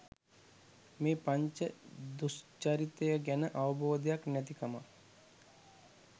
මේ පංච දුෂ්චරිතය ගැන අවබෝධයක් නැතිකමත්